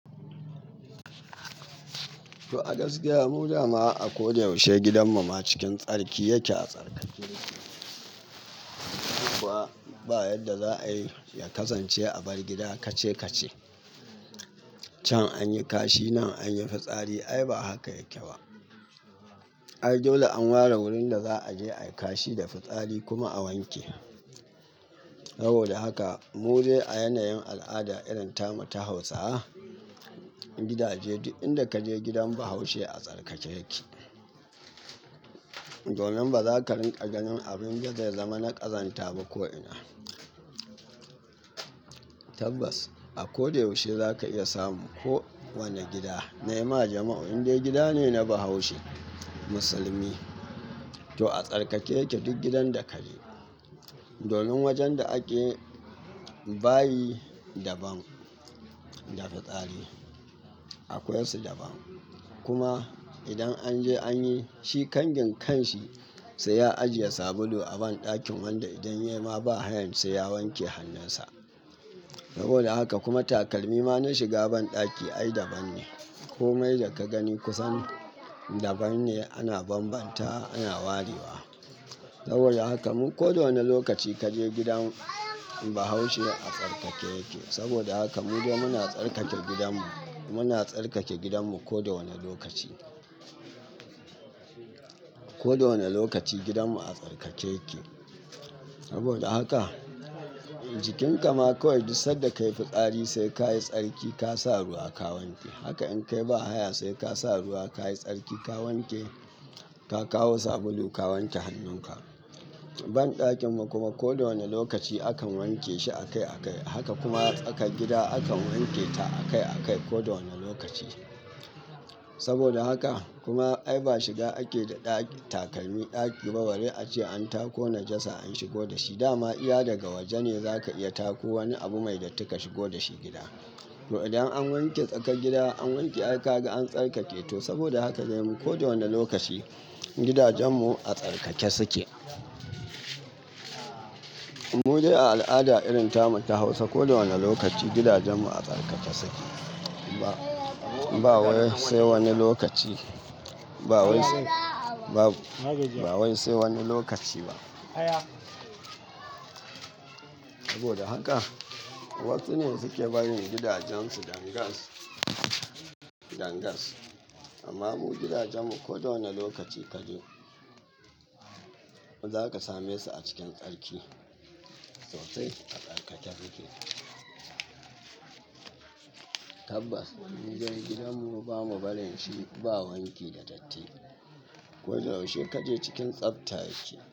To, a gaskiya mu dama a ko da yaushe gidanmu ma cikin tsarki yake a tsarkake yake. Kuma ba yadda za a yi ya kasance a bar gida kace-kace can an yi kashi nan an yi fitsari ai ba a haka yake ba. Ai dole an ware wurin da za a je a yi kashi da fitsari kuma a wanke. Saboda haka mu dai a yanayin al'ada irin tamu ta Hausawa, gidaje duk inda ka je gidan Bahaushe a tsarkake yake. Domin ba za ka rinƙa ganin abin dud da ya zama na ƙazanta ba ko'ina. Tabbas, a ko da yaushe za ka iya samu ko wane gida na yima jama'u indai gida ne na Bahaushe musulmi to a tsarkake yake duk gidan da ka je. Domin wajen da ake bayi daban da fitsari akwai su daban. Kuma idan an je an yi shi kangin kan shi sai ya ajiye sabulu a banɗakin wanda idan ya yi ma bahayan sai ya wanke hannunsa. Saboda haka kuma takalmi ma na shiga banɗaki ai daban ne. Komai da ka gani kusan daban ne ana bambantawa ana warewa. Saboda haka mu ko da wane lokaci kaje gidan Bahaushe a tsarkake yake. Saboda haka mu dai muna tsarkake gidanmu, muna tsarkake gidanmu ko da wane lokaci. Ko da wane lokaci gidanmu a tsarkake yake. Saboda haka jikinka ma ko duk sanda ka yi fitsari sai kayi tsarki ka sa ruwa ka wanke. Haka in ka yi ba haya sai ka sa ruwa kayi tsarki ka wanke, ka kawo sabulu ka wanke hannunka. Banɗakinmu kuma ko da wane lokaci akan wanke shi akai akai. Haka kuma aka gida akan wanketa akai akai ko da wane lokaci. Saboda haka kuma ai ba shiga ake da ɗaki takalmi ɗaki ba. Bari ace an tako najasa an shigo da shi. Da ma iya daga waje ne za ka iya tako wani abu mai datti ka shigo da shi gida. To idan an wanke tsakar gida an wanke ai ka ga an tsarkake to saboda haka dai mu ko da wane lokaci gidajenmu a tsarkake suke. Mu dai a al'ada irin tamu ta Hausa ko da wane lokaci gidajenmu a tsarkake suke. Ba, ba wai sai wani lokaci. Ba wai sai babu. Ba wai sai wani lokaci ba. Saboda haka wasu ne suke barin gidajensu dangas, dangas. Amma mu gidajenmu ko da wane lokaci kaje za ka same su a cikin tsarki. Tsofaffi a tsarkake suke. Tabbas, mudai gidanmu bamu barin shi ba wanki da datti. Ko da yaushe kaje cikin tsabta yake.